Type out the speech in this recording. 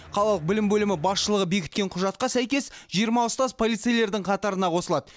қалалық білім бөлімі басшылығы бекіткен құжатқа сәйкес жиырма ұстаз полицейлердің қатарына қосылады